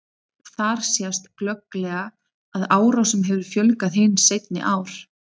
Þar sést glögglega að árásum hefur fjölgað hin seinni ár.